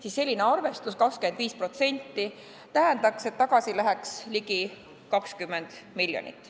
25% kogu keskkonnatasust tähendaks, et tagasi läheks ligi 20 miljonit.